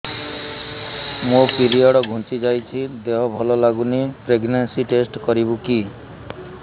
ମୋ ପିରିଅଡ଼ ଘୁଞ୍ଚି ଯାଇଛି ଦେହ ଭଲ ଲାଗୁନି ପ୍ରେଗ୍ନନ୍ସି ଟେଷ୍ଟ କରିବୁ କି